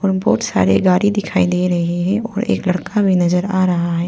बहुत सारे गाड़ी दिखाई दे रही है और एक लड़का भी नजर आ रहा है।